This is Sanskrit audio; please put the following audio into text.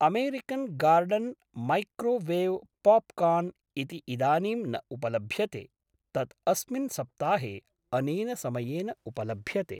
अमेरिकन् गार्डन् मैक्रोवेव् पाप्कार्न् इति इदानीं न उपलभ्यते, तत् अस्मिन् सप्ताहे अनेन समयेन उपलभ्यते।